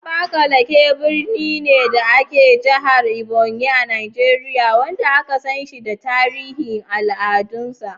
Abakalaki birni ne, da ke a Jihar Ebonyi, a Nijeriya, wanda aka san shi da tarin al’adunsa.